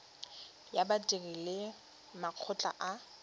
ya badiri le makgotla a